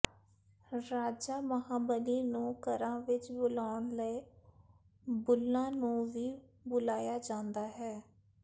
ਰਾਜਾ ਮਹਾਂਬਲੀ ਨੂੰ ਘਰਾਂ ਵਿਚ ਬੁਲਾਉਣ ਲਈ ਬੁੱਲ੍ਹਾਂ ਨੂੰ ਵੀ ਬੁਲਾਇਆ ਜਾਂਦਾ ਹੈ